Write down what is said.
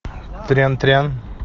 трям трям